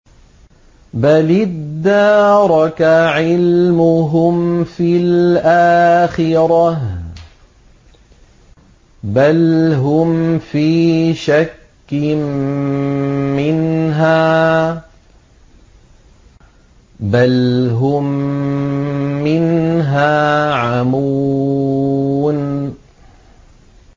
بَلِ ادَّارَكَ عِلْمُهُمْ فِي الْآخِرَةِ ۚ بَلْ هُمْ فِي شَكٍّ مِّنْهَا ۖ بَلْ هُم مِّنْهَا عَمُونَ